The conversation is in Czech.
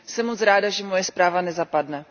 Jsem moc ráda, že moje zpráva nezapadne.